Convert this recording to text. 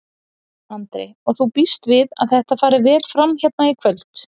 Andri: Og þú býst við að þetta fari vel fram hérna í kvöld?